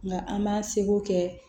Nka an m'an seko kɛ